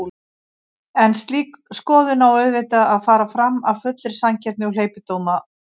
En slík skoðun á auðvitað að fara fram af fullri sanngirni og hleypidómalaust.